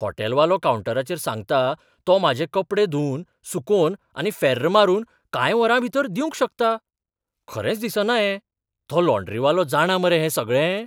हॉटेलवालो कावंटराचेर सांगता तो म्हाजे कपडे धुवन, सुकोवन आनी फॅर्र मारून कांय वरांभीतर दिवंक शकता. खरेंच दिसना हें. तो लॉंड्रीवालो जाणा मरे हें सगळें?